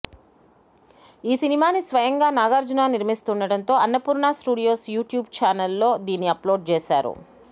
ఈ సినిమాని స్వయంగా నాగార్జున నిర్మిస్తుండడంతో అన్నపూర్ణ స్టూడియోస్ యూట్యూబ్ ఛానల్ లో దీన్ని అప్ లోడ్ చేశారు